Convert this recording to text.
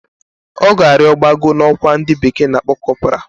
Oga rio gbago na okwa ndi bekee na-akpo corporal